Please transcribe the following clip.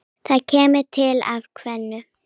Það kemur til af tvennu.